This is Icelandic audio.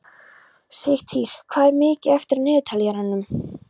Sigtýr, hvað er mikið eftir af niðurteljaranum?